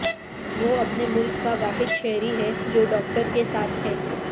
وہ اپنے ملک کا واحد شہری ہے جو ڈاکٹر کے ساتھ ہے